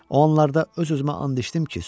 O anlarda öz-özümə and içdim ki, susum.